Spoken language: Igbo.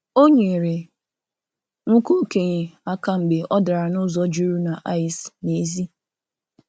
Ọ nyerè nwoke okenye aka mgbe ọ darà n’ụzọ jụrụ na ìce n’èzí.